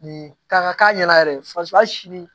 Nin ka k'a ɲɛna yɛrɛ de faso hali sini